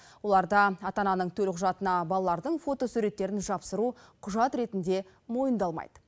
оларда ата ананың төлқұжатына балалардың фотосуретін жабыстыру құжат ретінде мойындалмайды